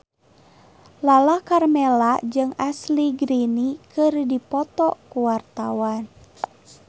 Lala Karmela jeung Ashley Greene keur dipoto ku wartawan